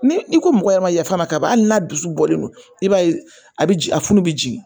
Ni i ko mɔgɔ yɛrɛ ma yafa ma ka ban ali n'a dusu bɔlen don i b'a ye a bɛ jigin a funu bɛ jigin